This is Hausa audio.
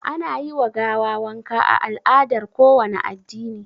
Ana yi wa gawa wanka a al'adar kowane addini